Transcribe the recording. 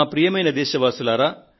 ప్రియమైన నా దేశ వాసులారా